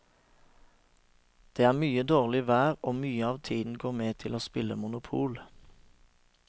Det er mye dårlig vær og mye av tiden går med til å spille monopol.